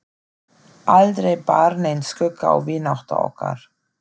Aldrei bar neinn skugga á vináttu okkar.